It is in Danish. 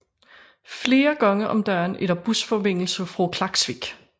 Flere gange om dagen er der busforbindelse fra Klaksvík